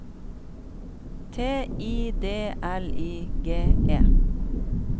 T I D L I G E